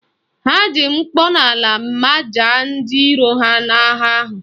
Ha ji mkpọnala majaa ndị iro ha n'agha ahụ